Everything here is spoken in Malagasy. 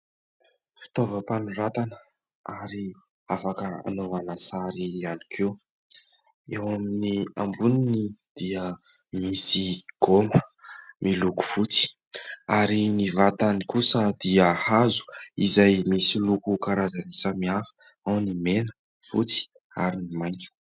Fitaovam-panoratana ary afaka anaovana sary ihany koa. Eo amin'ny amboniny dia misy gaoma miloko fotsy. Ary ny vatany kosa dia hazo izay misy loko karazany samihafa, ao ny mena, fotsy ary ny maitso.